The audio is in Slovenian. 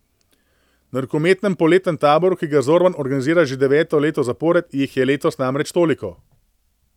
Na rokometnem poletnem taboru, ki ga Zorman organizira že deveto leto zapored, jih je letos namreč toliko.